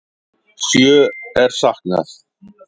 Sjö er saknað.